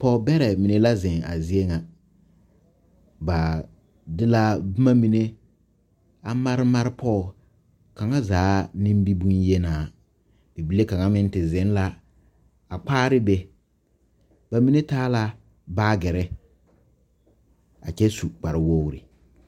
Pɔgebɛrɛ mine la zeŋ a zie ŋa ba de la boma mine a mare mare pɔge kaŋa zaa nimibonyenaa bibile kaŋa meŋ te zeŋ la a kpaare be ba mine taa la baagere a kyɛ su kparewogri.